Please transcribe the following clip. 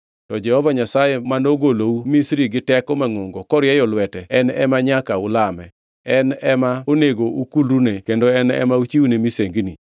To Jehova Nyasaye mane ogolou Misri gi teko mangʼongo korieyo lwete, en ema nyaka ulame. En ema onego ukulrune kendo en ema uchiwne misengini.